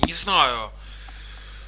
не знаю